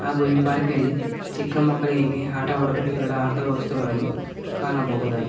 ಹಾಗು ಈ ಪಾರ್ಕ್ ನಲ್ಲಿ ಚಿಕ್ಕ ಮಕ್ಕಳಿಗಾಗಿ ಆಟವಾಡಲು ಎರಡು ಆಟದ ವಸ್ತುಗಳನ್ನು ಕಾಣಬಹುದಾಗಿ --